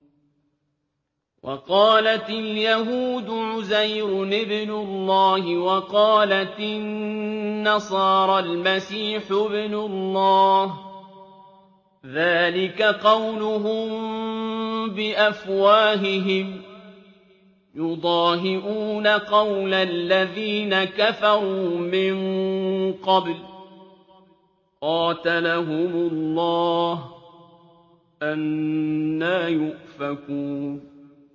وَقَالَتِ الْيَهُودُ عُزَيْرٌ ابْنُ اللَّهِ وَقَالَتِ النَّصَارَى الْمَسِيحُ ابْنُ اللَّهِ ۖ ذَٰلِكَ قَوْلُهُم بِأَفْوَاهِهِمْ ۖ يُضَاهِئُونَ قَوْلَ الَّذِينَ كَفَرُوا مِن قَبْلُ ۚ قَاتَلَهُمُ اللَّهُ ۚ أَنَّىٰ يُؤْفَكُونَ